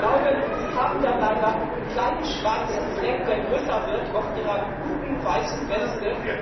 Ich glaube, Sie haben da leider einen kleinen schwarzen Fleck, der größer wird auf Ihrer guten weißen Weste.